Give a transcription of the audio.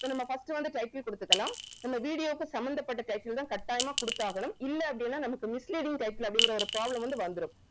so நம்ம first வந்து title குடுத்துக்கணும் நம்ம video வுக்கு சம்பந்தபட்ட title தான் கட்டாயமாக குடுத்து ஆகனும் இல்ல அப்படின்னா நம்மக்கு misleading title அப்படிங்கற ஒரு problem வந்து வந்துரும்